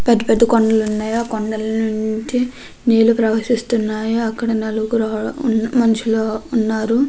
పెద్ద పెద్ద కొండలు ఉన్నాయి ఆ కొండలో నుంచి నీళ్లు ప్రవహిస్తున్నాయి అక్కడ నలుగురు మనుషులు ఉన్నారు.